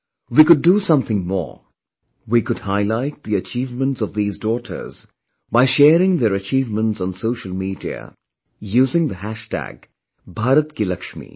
We could do something more; we could highlight the achievements of these daughters by sharing their achievements on social media, using the hashtag BHARAT KI LAXMI